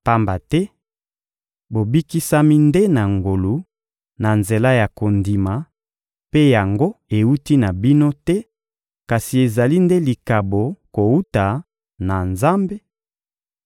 Pamba te bobikisami nde na ngolu, na nzela ya kondima—mpe yango ewuti na bino te, kasi ezali nde likabo kowuta na Nzambe—